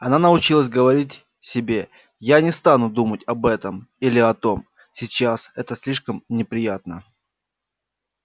она научилась говорить себе я не стану думать об этом или о том сейчас это слишком неприятно